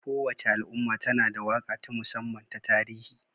Kowace al'umma tana da waƙa ta musamman ta tarihi